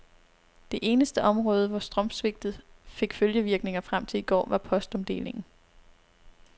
Det eneste område, hvor strømsvigtet fik følgevirkninger frem til i går, var postomdelingen.